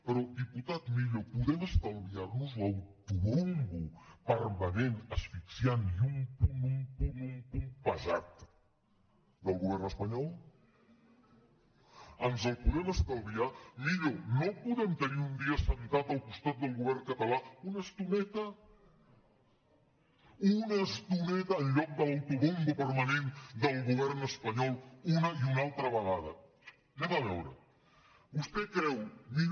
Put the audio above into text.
pe·rò diputat millo podem estalviar·nos l’ autobombo permanent asfixiant i un punt un punt un punt pesat del govern espanyol ens el podem estalviar millo no el podem tenir un dia assegut al costat del govern català una estoneta una estoneta en lloc de l’ autobombo permanent del govern espanyol una i una altra vegada vegem millo